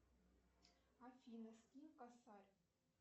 афина скинь косарь